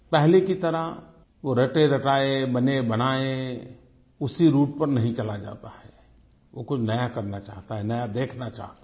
पहले की तरह वो रटेरटाये बनेबनाये उसी राउटे पर नहीं चला जाता है वो कुछ नया करना चाहता है वो कुछ नया देखना चाहता है